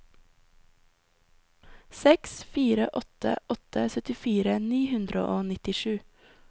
seks fire åtte åtte syttifire ni hundre og nittisju